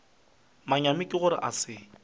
manyami ke gore a se